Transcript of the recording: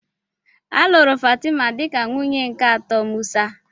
A lụrụ Fatima dịka nwunye nke atọ Musa.